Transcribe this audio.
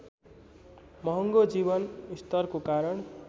महँगो जीवन स्तरको कारण